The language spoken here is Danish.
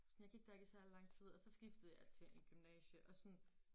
Sådan jeg gik der ikke i særlig lang tid og så skiftede jeg til et gymnasium og sådan